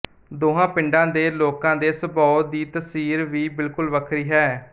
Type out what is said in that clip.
ਦੋਹਾਂ ਪਿੰਡਾਂ ਦੇ ਲੋਕਾਂ ਦੇ ਸਭਾਉ ਦੀ ਤਾਸੀਰ ਵੀ ਬਿੱਲਕੁਲ ਵੱਖਰੀ ਹੈ